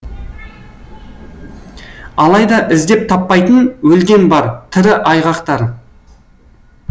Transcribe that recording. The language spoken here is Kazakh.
алайда іздеп таппайтын өлген бар тірі айғақтар